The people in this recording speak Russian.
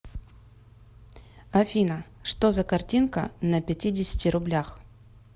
афина что за картинка на пятидесяти рублях